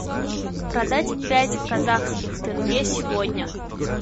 продать пять казахских тенге сегодня